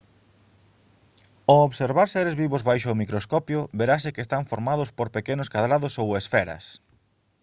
ao observar seres vivos baixo o microscopio verase que están formados por pequenos cadrados ou esferas